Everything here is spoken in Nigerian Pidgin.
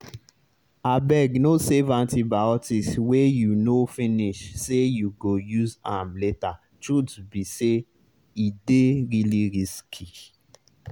abegno save antibiotics wey you no finish say you go use am latertruth be say e dey really risky.